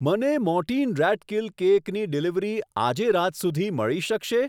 મને Mortein rat kill કેકની delivery આજે રાત સુધી મળી શકશે?